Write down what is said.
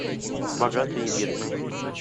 богатые и бедные